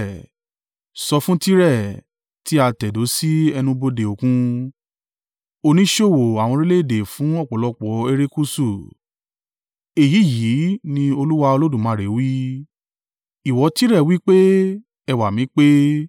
Sọ fún Tire, tí a tẹ̀dó sí ẹnu-bodè Òkun, oníṣòwò àwọn orílẹ̀-èdè fún ọ̀pọ̀lọpọ̀ erékùṣù. ‘Èyí yìí ní Olúwa Olódùmarè wí: “ ‘Ìwọ Tire wí pé, “Ẹwà mi pé.”